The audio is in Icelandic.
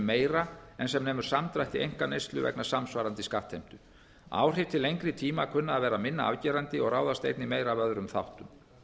meira en sem nemur samdrætti einkaneyslu vegna samsvarandi skattheimtu áhrif til lengri tíma kunna að vera minna afgerandi og ráðast einnig meira af öðrum þáttum